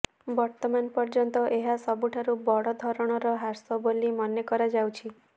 ବର୍ତ୍ତମାନ ପର୍ଯ୍ୟନ୍ତ ଏହା ସବୁଠାରୁ ବଡ ଧରଣର ହ୍ରାସ ବୋଲି ମନେ କରାଯାଉଛି